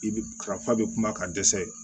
I bɛ ka fa bɛ kuma ka dɛsɛ